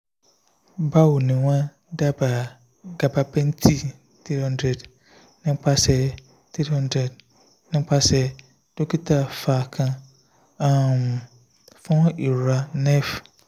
bawoni won daba gabapentin three hundred nipasẹ three hundred nipasẹ dokita va kan um fun irora nerve